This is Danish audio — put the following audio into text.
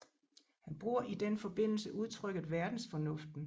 Han bruger i den forbindelse udtrykket verdensfornuften